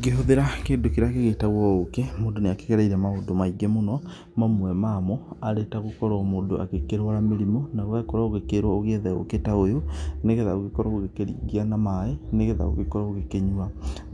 Ngĩhũthĩra kĩndũ kĩrĩa gĩgĩĩtagwo ũkĩ, mũndũ nĩ akĩgereire maũndũ maingĩ mũno, mamwe mamo, arĩ ta gũkorwo mũndũ agĩkĩrũara mĩrimũ na ũgakorwo ũgĩkĩĩrwo ũgĩethge ũkĩ ta ũyũ, nĩgetha ũgĩkorwo ũgĩkĩringia na maaĩ, nĩgetha ũgĩkorwo ũgĩkĩnyua.